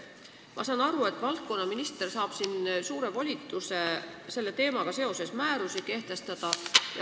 Ma saan aru, et valdkonnaminister saab suure volituse selle teemaga seoses määrusi välja anda.